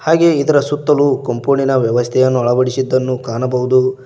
ಹಾಗೆಯೇ ಇದರ ಸುತ್ತಲೂ ಕಂಪೌಂಡಿನ ವ್ಯವಸ್ಥೆಯನ್ನು ಅಳವಡಿಸಿದ್ದನ್ನು ಕಾಣಬೋದು.